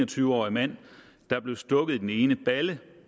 tyve årig mand der blev stukket i den ene balle